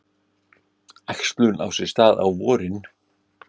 Æxlun á sér stað á vorin.